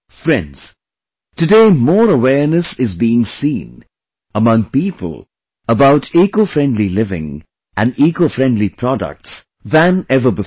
Friends, today more awareness is being seen among people about Ecofriendly living and Ecofriendly products than ever before